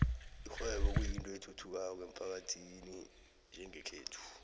ikghwebo kuyinto ethuthukako emphakathini yangekhethu